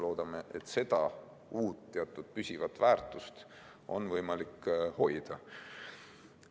Loodame, et seda uut, teatud püsivat väärtust on võimalik hoida.